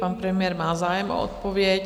Pan premiér má zájem o odpověď.